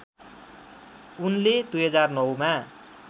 उनले २००९ मा